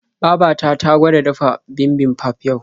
Baba ta ta gwada dafa bibimbap yau.